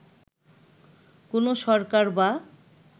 কোন সরকার বা